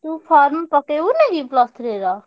ତୁ form ପକେଇବୁନି କି plus three ର?